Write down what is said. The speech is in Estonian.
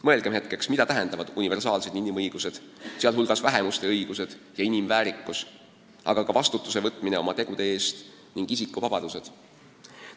Mõelgem hetkeks, mida tähendavad universaalsed inimõigused, sh vähemuste õigused ja inimväärikus, aga ka vastutuse võtmine oma tegude eest ning isikuvabadused!